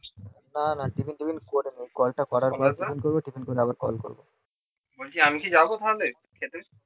আমি কি যাবো তাহলে খেতে